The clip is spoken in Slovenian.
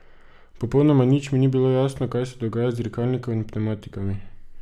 Popolnoma nič mi ni bilo jasno, kaj se dogaja z dirkalnikom in pnevmatikami.